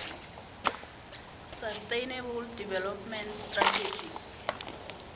sustainable development strategies